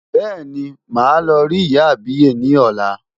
Bẹ́ẹ̀ni, màá lọ rí ìyá àbíyè ni ọ̀la.